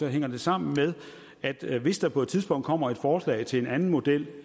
hænger det sammen med at hvis der på et tidspunkt kommer et forslag til en anden model